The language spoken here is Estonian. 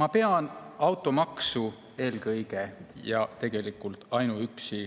Ma pean automaksu eelkõige ja tegelikult ainuüksi